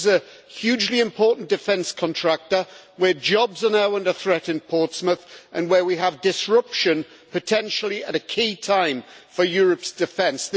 This is a hugely important defence contractor where jobs are now under threat in Portsmouth and where we have disruption, potentially at a key time for Europe's defence.